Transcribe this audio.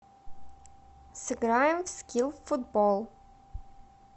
сыграем в скил футбол